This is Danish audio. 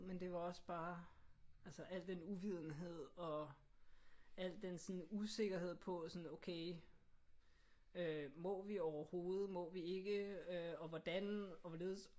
Men det var også bare altså alt den uvidenhed og al den sådan usikkerhed på sådan okay øh må vi overhovedet? Må vi ikke? Og hvordan og hvorledes